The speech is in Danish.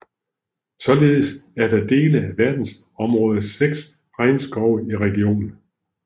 Således er der dele af verdensarvsområdets seks regnskove i regionen